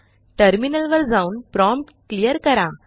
टर्मिनलवर जाऊनप्रॉम्प्ट क्लियर करा